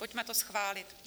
Pojďme to schválit.